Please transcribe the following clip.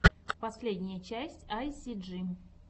последняя часть айсиджи